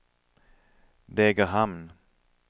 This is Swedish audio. Degerhamn